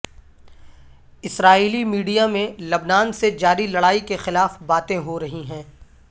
اسرائیلی media میں لبنان سے جاری لڑائی کے خلاف باتیں ہو رہی ہیں